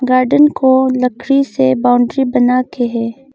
Garden को लकड़ी से बाउंड्री बनाके हैं।